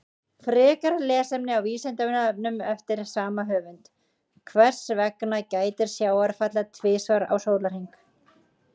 Frekara lesefni á Vísindavefnum eftir sama höfund: Hvers vegna gætir sjávarfalla tvisvar á sólarhring?